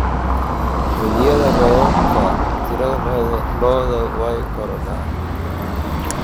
Xilliyada roobabka, tirada lo'du way korodhaa.